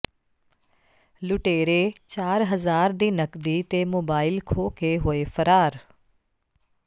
ਲੁਟੇਰੇ ਚਾਰ ਹਜ਼ਾਰ ਦੀ ਨਕਦੀ ਤੇ ਮੋਬਾਈਲ ਖੋਹ ਕੇ ਹੋਏ ਫ਼ਰਾਰ